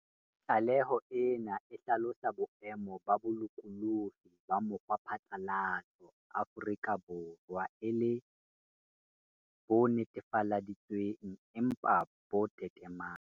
Tlaleho ena e hlalosa boemo ba bolokolohi ba mokgwaphatlalatso Afrika Borwa e le "bo netefaleditswe ng empa bo tetemang".